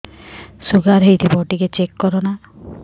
sugar ହେଇଥିବ ଟିକେ check କର ନା